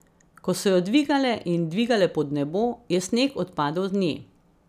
Ko so jo dvigale in dvigale pod nebo, je sneg odpadel z nje.